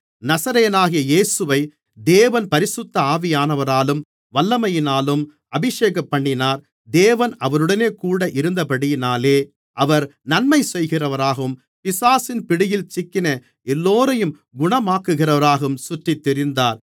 நசரேயனாகிய இயேசுவை தேவன் பரிசுத்த ஆவியானவராலும் வல்லமையினாலும் அபிஷேகம்பண்ணினார் தேவன் அவருடனேகூட இருந்தபடியினாலே அவர் நன்மைசெய்கிறவராகவும் பிசாசின் பிடியில் சிக்கின எல்லோரையும் குணமாக்குகிறவராகவும் சுற்றித்திரிந்தார்